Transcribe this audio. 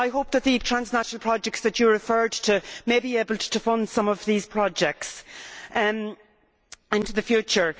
I hope that the transnational projects that have been referred to may be able to fund some of these projects into the future.